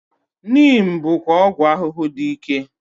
Neem bụkwa ọgwụ ahụhụ dị ike.